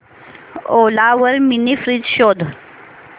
ओला वर mini fridge शोध